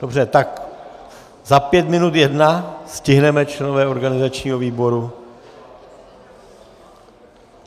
Dobře - tak za pět minut jedna - stihneme členové organizačního výboru?